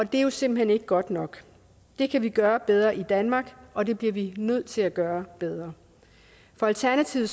det er jo simpelt hen ikke godt nok det kan vi gøre bedre i danmark og det bliver vi nødt til at gøre bedre for alternativet